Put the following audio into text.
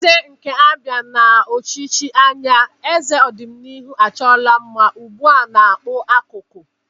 Eze nke Abia n'ochichi anya, eze odinihu achoro mma, ugba na-akpu akuko.